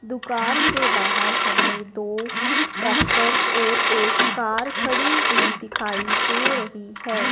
दुकान के बाहर हमें दो ट्रैक्टर और एक कार खड़ी हुई दिखाई दे रही है।